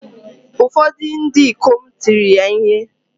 Ụfọdụ ndị ikom tiri ya ihe